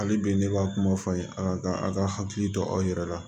Hali bi ne b'a kuma fɔ a ye a ka a ka hakili to aw yɛrɛ la